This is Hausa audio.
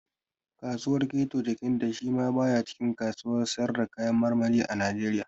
Kasuwar keto Jekande shi ma ya ba cikin kasuwar sayar da kayan marmari a Najeriya